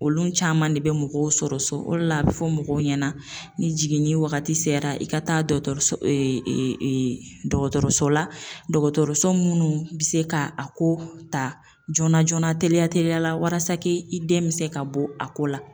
Olu caman de bɛ mɔgɔw sɔrɔ so o de la a bi fɔ mɔgɔw ɲɛna, ni jiginni wagati sera i ka taa dɔkɔtɔrɔso dɔkɔtɔrɔso la dɔgɔtɔrɔso munnu bi se ka a ko ta joona joona teliya teliya walasa k'i den bi se ka bɔ a ko la.